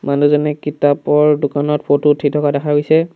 মানুহজনে কিতাপৰ দোকানত ফটো উঠি থকা দেখা গৈছে।